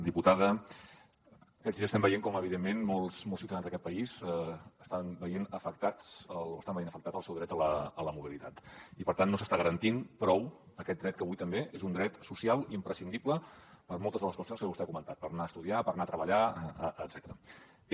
diputada aquests dies estem veient com evidentment molts ciutadans d’aquest país estan veient afectat el seu dret a la mobilitat i per tant no s’està garantint prou aquest dret que avui també és un dret social imprescindible per moltes de les qüestions que vostè ha comentat per anar a estudiar per anar a treballar etcètera